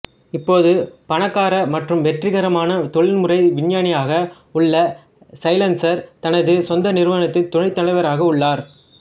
இப்போது பணக்கார மற்றும் வெற்றிகரமான தொழில்முறை விஞ்ஞானியாக உள்ள சைலன்சர் தனது சொந்த நிறுவனத்தில் துணைத் தலைவராக உள்ளார்